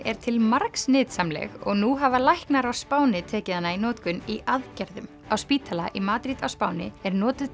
er til margs nytsamleg og nú hafa læknar á Spáni tekið hana í notkun í aðgerðum spítali í Madrid á Spáni notast